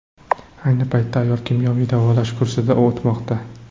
Ayni paytda ayol kimyoviy davolash kursidan o‘tmoqda.